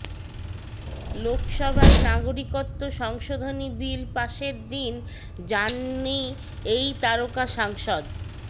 লোকসভায় নাগরিকত্ব সংশোধনী বিল পাশের দিন জাননি এই তারকা সাংসদ